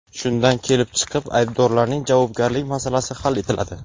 Shundan kelib chiqib, aybdorlarning javobgarlik masalasi hal etiladi.